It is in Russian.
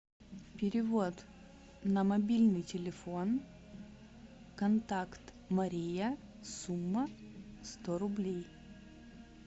перевод на мобильный телефон контакт мария сумма сто рублей